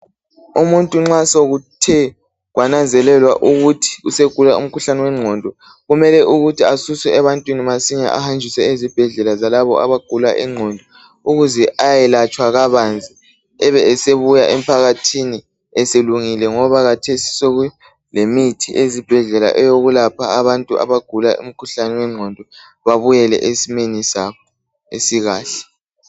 Umuntu nxa sokuthe kwananzelelwa ukuthi usegula umkhuhlane wengqondo, kumele ukuthi asuswe ebantwini masinye ahanjiswe ezibhedlela zalabo abagula ingqondo ukuze ayelatshwa kabanzi ebe esebuya emphathithini eselungile ngoba khathesi sokulemithi ezibhedlela eyokulapha abantu abagula umkhuhlane wengqondo bebuyele esimeni sabo esikahle.